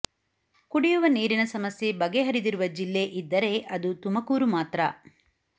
ಕುಡಿಯುವ ನೀರಿನ ಸಮಸ್ಯೆ ಬಗೆಹರಿದಿರುವ ಜಿಲ್ಲೆ ಇದ್ದರೆ ಅದು ತುಮಕೂರು ಮಾತ್ರ